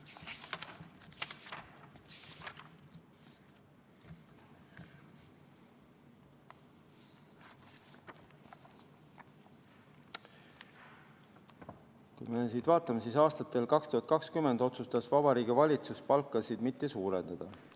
Kui me siit vaatame, siis aastatel 2020 otsustas Vabariigi Valitsus palkasid mitte suurendada.